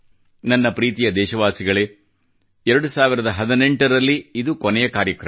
ನನ್ನ ಪ್ರೀತಿಯ ದೇಶವಾಸಿಗಳೇ 2018 ರಲ್ಲಿ ಇದು ಕೊನೆಯ ಕಾರ್ಯಕ್ರಮ